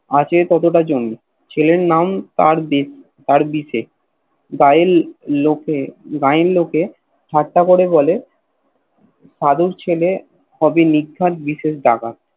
আছে ততটা জমি ছেলের নাম তার বিশে গায়েন লোকে গায়ের লোকে ঠাট্টা করে বলে সাধুর ছেলে হবে নির্ঘাত বিশেষ ডাকাত